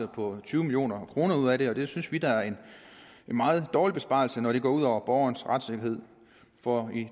på tyve million kroner ud af det og det synes vi da er en meget dårlig besparelse når det går ud over borgernes retssikkerhed for i